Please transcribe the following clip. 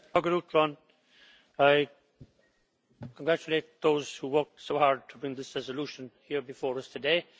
Mr President, I congratulate those who worked so hard to bring this resolution here before us today.